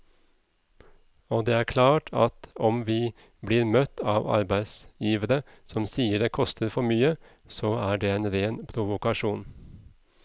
Og det er klart at om vi blir møtt av arbeidsgivere som sier det koster for mye, så er det en ren provokasjon.